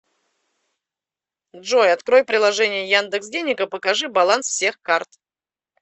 джой открой приложение яндекс денег и покажи баланс всех карт